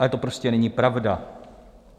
Ale to prostě není pravda.